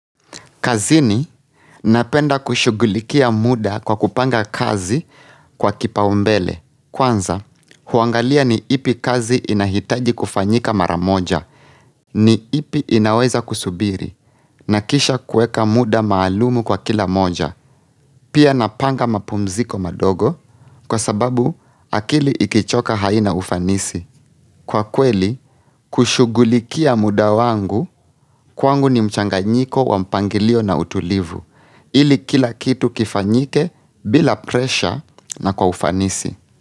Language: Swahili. Kazini, napenda kushugulikia muda kwa kupanga kazi kwa kipaumbele. Kwanza, huangalia ni ipi kazi inahitaji kufanyika maramoja, ni ipi inaweza kusubiri, na kisha kueka muda maalumu kwa kila moja. Pia napanga mapumziko madogo, kwa sababu akili ikichoka haina ufanisi. Kwa kweli, kushugulikia muda wangu, kwangu ni mchanga nyiko wa mpangilio na utulivu. Ili kila kitu kifanyike bila presha na kwa ufanisi.